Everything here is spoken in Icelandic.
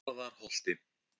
Hjarðarholti